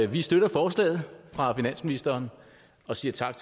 vi støtter forslaget fra finansministeren og siger tak